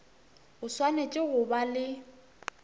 o swanetše go ba le